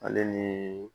Ale ni